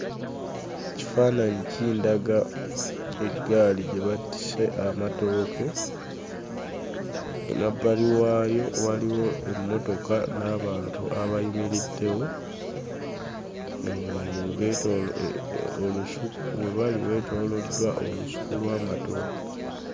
Ekifaananyi kindaga eggaali gye batisse amatooke, emabbali waayo waliwo emmotoka n'abantu abayimiriddewo, Beetoolodde olusuku. We bali weetooloddwa olusuku lw'amatooke.